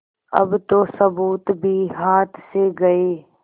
अब तो सबूत भी हाथ से गये